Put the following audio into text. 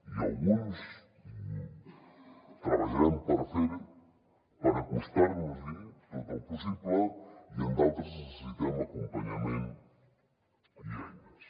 i en alguns treballarem per fer ho per acostar nos hi tot el possible i en d’altres necessitem acompanyament i eines